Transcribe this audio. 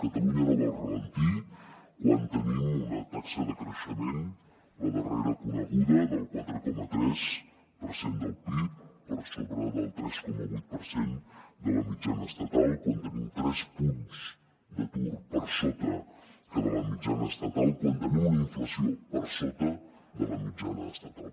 catalunya no va al ralentí quan tenim una taxa de creixement la darrera coneguda del quatre coma tres per cent del pib per sobre del tres coma vuit per cent de la mitjana estatal quan tenim tres punts d’atur per sota de la mitjana estatal quan tenim una inflació per sota de la mitjana estatal